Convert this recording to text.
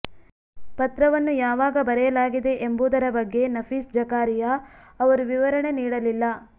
ಪತ್ರವನ್ನು ಯಾವಾಗ ಬರೆಯಲಾಗಿದೆ ಎಂಬುದರ ಬಗ್ಗೆ ನಫೀಸ್ ಜಕಾರಿಯಾ ಅವರು ವಿವರಣೆ ನೀಡಲಿಲ್ಲ